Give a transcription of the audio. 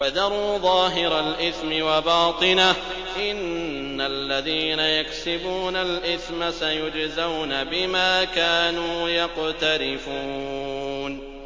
وَذَرُوا ظَاهِرَ الْإِثْمِ وَبَاطِنَهُ ۚ إِنَّ الَّذِينَ يَكْسِبُونَ الْإِثْمَ سَيُجْزَوْنَ بِمَا كَانُوا يَقْتَرِفُونَ